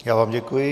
Já vám děkuji.